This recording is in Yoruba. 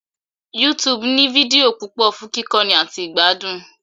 YouTube ní fídíò púpọ̀ fún kíkọ́ni àti ìgbádùn